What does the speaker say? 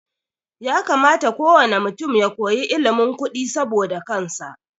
Ya kamata ko wane mutum ya koyi ilimin kudi saboda kansa